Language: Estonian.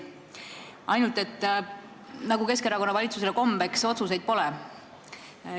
Paraku, nagu Keskerakonna valitsusele kombeks, otsuseid pole.